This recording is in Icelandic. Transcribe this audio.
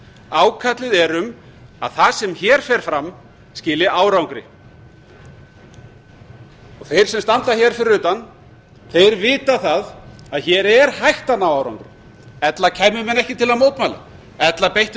ákallið er um að það sem hér fer fram skili árangri þeir sem standa hér fyrir utan vita það að hér er hægt að ná árangri ella kæmu menn ekki til að mótmæla ella beittu